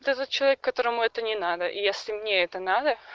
ты за человек которому это не надо и если мне это надо